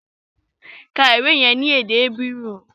Ka ìwé yẹn ní èdè Hébérù!